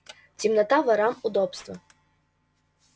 темнота ворам удобство